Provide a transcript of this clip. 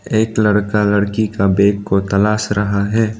एक लड़का लड़की का बैग को तलाश रहा है।